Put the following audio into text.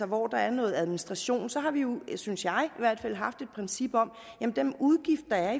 hvor der er noget administration så har vi jo synes jeg i haft et princip om at den udgift der